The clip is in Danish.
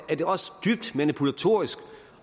er det også dybt manipulatorisk